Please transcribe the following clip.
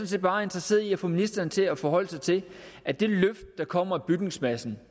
set bare interesseret i at få ministeren til at forholde sig til at det løft der kommer af bygningsmassen